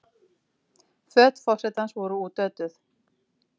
Föt forsetans voru útötuð